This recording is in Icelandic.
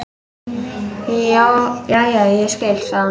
Jæja, ég skil, sagði hún.